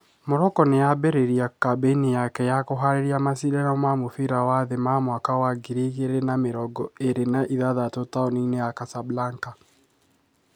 Morocco nimambĩriria kambeni yake ya kuhariria macindano ma mũbira wa thĩ ma mwaka wa ngiri igĩrĩ na mĩrongo ĩrĩ na ithathatũ taũni-inĩ ya Casablanca.